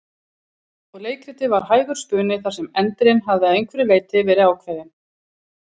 Og leikritið var hægur spuni þar sem endirinn hafði að einhverju leyti verið ákveðinn.